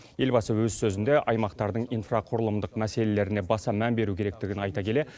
елбасы өз сөзінде аймақтардың инфрақұрылымдық мәселелеріне баса мән беру керектігін айта келе